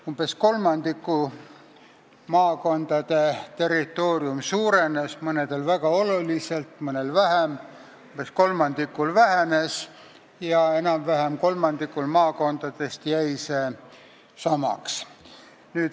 Umbes kolmandiku maakondade territoorium suurenes, mõnel väga oluliselt, mõnel vähem, umbes kolmandikul vähenes ja enam-vähem kolmandikul jäi samaks.